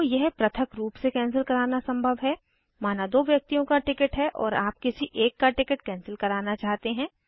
तो यह पृथक रूप से कैंसिल कराना संभव है माना दो व्यक्तियों का टिकिट है और आप किसी एक का टिकट कैंसिल कराना चाहते हैं